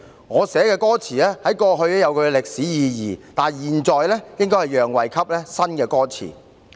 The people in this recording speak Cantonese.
我寫的歌詞在過去有它的歷史意義，但現在應該讓位給新的歌詞。